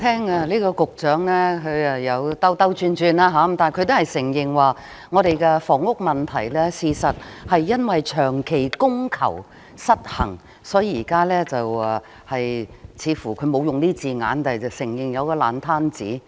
代理主席，聽局長這番發言，雖然他是在繞圈子，但卻也承認我們的房屋問題事實上是長期供求失衡所致，所以，現在似乎——他沒有用上這字眼，但卻承認——有個爛攤子。